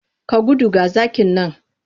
Ka gudu! ga zaki nan.